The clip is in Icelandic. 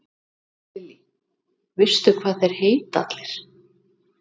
Lillý: Veistu hvað þeir heita allir?